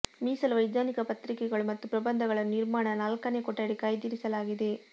ಮೀಸಲು ವೈಜ್ಞಾನಿಕ ಪತ್ರಿಕೆಗಳು ಮತ್ತು ಪ್ರಬಂಧಗಳನ್ನು ನಿರ್ಮಾಣ ನಾಲ್ಕನೇ ಕೊಠಡಿ ಕಾಯ್ದಿರಿಸಲಾಗಿದೆ